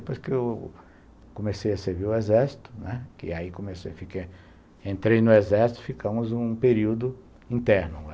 Depois que eu comecei a servir o Exército, não é, que aí comecei a ficar... Entrei no Exército, ficamos um período interno.